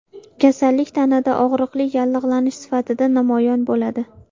Kasallik tanada og‘riqli yallig‘lanish sifatida namoyon bo‘ladi.